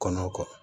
Kɔnɔ kɔ